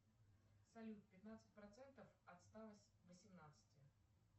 салют пятнадцать процентов от ста восемнадцати